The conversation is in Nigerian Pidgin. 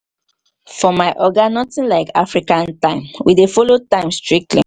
for my oga notin like african time we dey folo di time strictly.